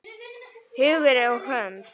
Hugur og hönd!